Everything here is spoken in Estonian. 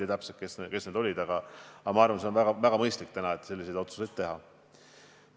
Ma täpselt ei tea, kes need olid, aga arvan, et on väga mõistlik täna selliseid otsuseid teha.